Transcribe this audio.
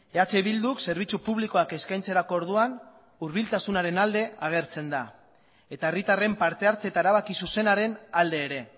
eh bilduk zerbitzu publikoak eskaintzerako orduan hurbiltasunaren alde agertzen da eta herritarren parte hartze eta erabaki zuzenaren alde ere